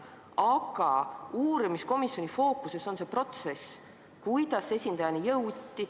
Aga uurimiskomisjoni fookuses on see protsess, kuidas esindajani jõuti.